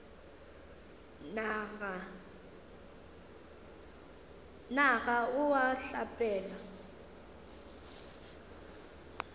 na ga o a hlapela